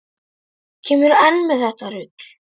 Kemurðu enn með þetta rugl!